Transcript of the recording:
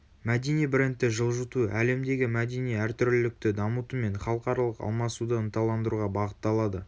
мәдени брендті жылжыту әлемдегі мәдени әртүрлілікті дамытумен халықаралық алмасуды ынталандыруға бағытталады